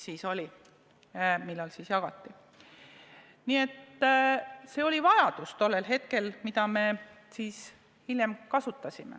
Siis oli selle järele vajadus ja me oleme seda ka hiljem kasutanud.